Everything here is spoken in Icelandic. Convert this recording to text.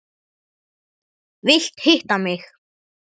Vilt hitta mig.